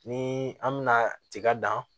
Ni an mɛna tiga dan